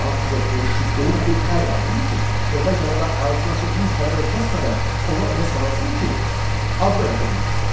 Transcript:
Sağlam, zırpı, kütbeyin bir ər lazımdır ki, evə gələndə ağzını açıb bir kəlmə də kəsmədən ona elə sarılsın ki, adı da yadından çıxsın.